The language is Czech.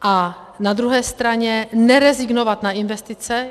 A na druhé straně nerezignovat na investice.